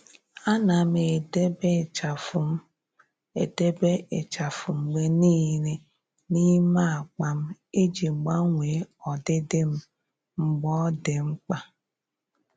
À nà m edèbè ịchafụ m edèbè ịchafụ mgbe nìile n’ímé ákpá m iji gbanwee ọdịdị m mgbe ọ́ dị́ mkpa.